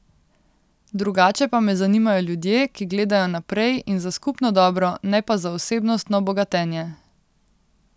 Drugače pa me zanimajo ljudje, ki gledajo naprej in za skupno dobro, ne pa za osebnostno bogatenje.